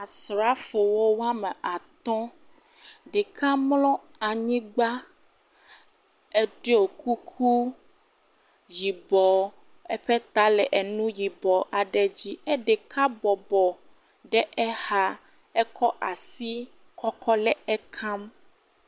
Asrafowo wɔme atɔ̃. Ɖeka mlɔ anyigba eɖɔ kuku yibɔ. Eƒe ta le enu yibɔ aɖe dzi eye ɖeka bɔbɔ ɖe exa ekɔ asi kɔkɔ le ekam.